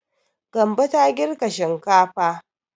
Gambo ta girka shinkafa.